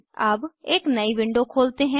अब एक नयी विंडो खोलते हैं